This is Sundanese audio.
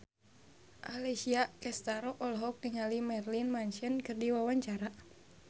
Alessia Cestaro olohok ningali Marilyn Manson keur diwawancara